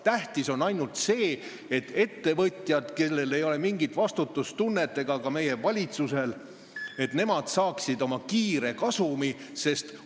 Tähtis on ainult see, et ettevõtjad, kellel ei ole mingit vastutustunnet – seda ei ole ka meie valitsusel –, saaksid kiiresti oma kasumi kätte.